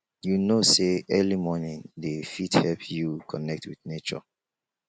you know sey early morning dey fit help you connect wit nature